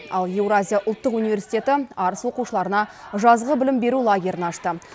ал еуразия ұлттық университеті арыс оқушыларына жазғы білім беру лагерін ашты